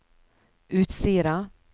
Utsira